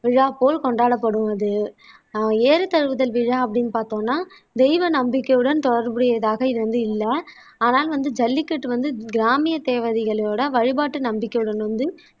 விழா போல் கொண்டாடப்படுவது ஆஹ் ஏறுதழுவுதல் விழா அப்படின்னு பார்த்தோம்னா தெய்வ நம்பிக்கையுடன் தொடர்புடையதாக இது வந்து இல்லை ஆனால் வந்த ஜல்லிக்கட்டு வந்து கிராமிய தேவதைகளோட வழிபாட்டு நம்பிக்கையுடன் வந்து